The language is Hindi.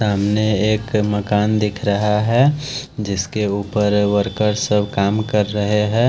सामने एक मकान दिख रहा है जिसके ऊपर वर्कर सब काम कर रहे है।